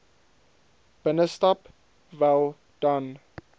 binnestap wel dan